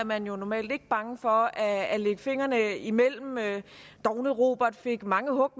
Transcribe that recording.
man jo normalt ikke bange for at at lægge fingrene imellem dovne robert fik mange hug